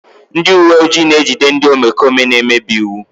Ndị uwe ojii na-ejide ndị omekome na-emebi iwu.